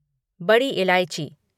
बड़ी इलायची